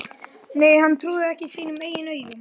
Nei, hann trúði ekki sínum eigin augum.